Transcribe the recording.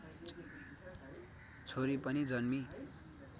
छोरी पनि जन्मिई